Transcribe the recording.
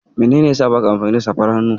Menene yasa baka amfani da safar hannu?